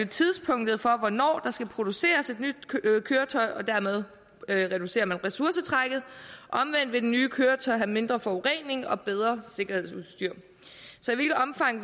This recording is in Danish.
tidspunktet for hvornår der skal produceres et nyt køretøj og dermed reducerer man ressourcetrækket omvendt vil det nye køretøj have mindre forurening og bedre sikkerhedsudstyr så i hvilket omfang